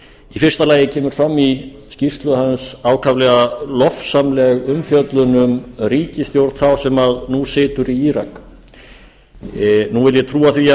í fyrsta lagi kemur fram í skýrslu hans ákaflega lofsamleg umfjöllun um ríkisstjórn þá sem nú situr í írak nú vil ég trúa